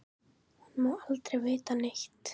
Hún má aldrei vita neitt.